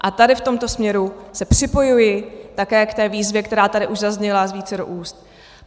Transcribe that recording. A tady v tomto směru se připojuji také k té výzvě, která tady už zazněla z vícero úst.